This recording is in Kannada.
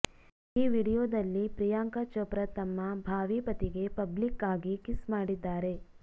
ಈ ವಿಡಿಯೋದಲ್ಲಿ ಪ್ರಿಯಾಂಕಾ ಚೋಪ್ರಾ ತಮ್ಮ ಭಾವಿ ಪತಿಗೆ ಪಬ್ಲಿಕ್ ಆಗಿ ಕಿಸ್ ಮಾಡಿದ್ದಾರೆ